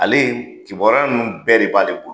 Ale kibariya nunnu bɛɛ de b'ale bolo.